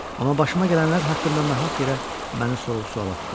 Amma başıma gələnlər haqqında nahaq yerə məni sorğu-suala tuturdu.